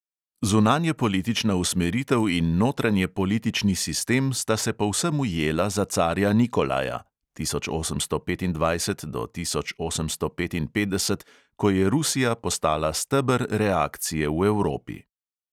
Zunanjepolitična usmeritev in notranjepolitični sistem sta se povsem ujela za carja nikolaja (od tisoč osemsto petindvajset do tisoč osemsto petinpetdeset), ko je rusija postala steber reakcije v evropi.